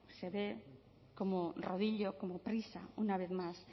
se ve como rodillo como prisa una vez más